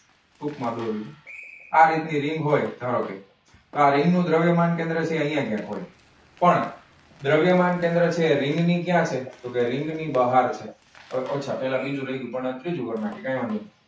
ટૂકમાં બોલું છું, આ રીત ની રીંગ હોય. તો આ રીંગ નું દ્રવ્યમાન કેન્દ્રથી અહીંયા ક્યાક હોય. પણ, દ્રવ્યમાન કેન્દ્ર છે રીંગ ની ક્યાં છે? તો કે રીંગ ની બહાર છે. કઈ વાંધો નઇ.